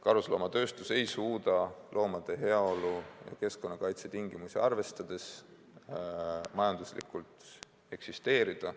Karusnahatööstus ei suuda loomade heaolu ja muid keskkonnakaitse tingimusi arvestades majanduslikult eksisteerida.